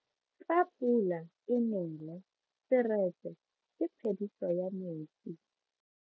Fa pula e nele seretse ke phediso ya metsi.